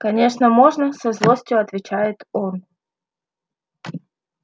конечно можно со злостью отвечает он